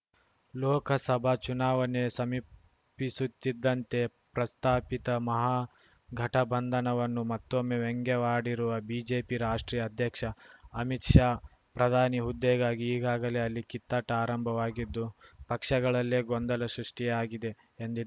ಲೋಕಸಭಾ ಚುನಾವಣೆ ಸಮೀಪಿಸುತ್ತಿದ್ದಂತೆ ಪ್ರಸ್ತಾಪಿತ ಮಹಾಗಠಬಂಧನವನ್ನು ಮತ್ತೊಮ್ಮೆ ವ್ಯಂಗ್ಯವಾಡಿರುವ ಬಿಜೆಪಿ ರಾಷ್ಟ್ರೀಯ ಅಧ್ಯಕ್ಷ ಅಮಿತ್‌ ಶಾ ಪ್ರಧಾನಿ ಹುದ್ದೆಗಾಗಿ ಈಗಾಗಲೇ ಅಲ್ಲಿ ಕಿತ್ತಾಟ ಆರಂಭವಾಗಿದ್ದು ಪಕ್ಷಗಳಲ್ಲೇ ಗೊಂದಲ ಸೃಷ್ಟಿಯಾಗಿದೆ ಎಂದಿ